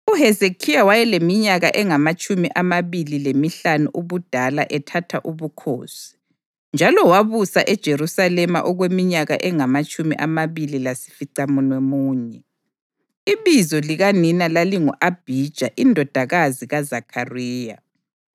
UHezekhiya wayeleminyaka engamatshumi amabili lemihlanu ubudala ethatha ubukhosi, njalo wabusa eJerusalema okweminyaka engamatshumi amabili lasificamunwemunye. Ibizo likanina lalingu-Abhija indodakazi kaZakhariya.